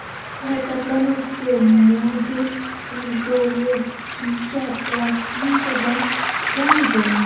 Harakatlanuvchi modul kuzovi shisha plastikdan ishlangan.